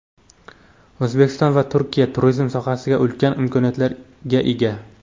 O‘zbekiston va Turkiya turizm sohasida ulkan imkoniyatlarga ega.